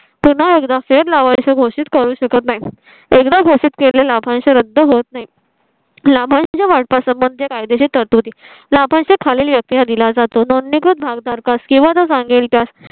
पुन्हा एकदा फेर लावायची घोषित करू शकत नाही. एकदा घोषित केलेला लाभांश रद्द होत नाही. लाभांश वाटपास म्हणजे कायदेशीर तरतुदी ला आपण खाल्लेल्या त्या दिला जातो. नोंदणीकृत भागधारकास किंवा सांगेल त्यास